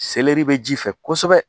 Seleri bɛ ji fɛ kosɛbɛ